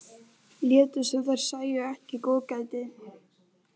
Létu sem þær sæju ekki góðgætið.